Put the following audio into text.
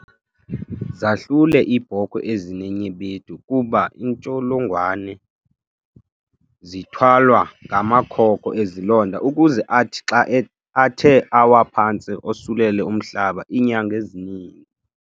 Zahlule iibhokhwe ezinenyebetu kuba iintsholongwane zithwalwa ngamakhoko ezilonda ukuze athi xa athe awa phantsi osulele umhlaba iinyanga ezininzi.